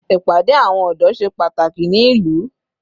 Ìpàdé àwọn ọ̀dọ́ ṣe pàtàkì ní ìlú.